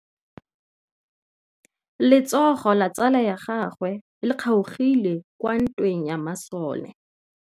Letsôgô la tsala ya gagwe le kgaogile kwa ntweng ya masole.